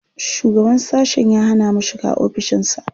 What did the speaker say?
Shugaban sashen ya hana mu shiga ofishinsa.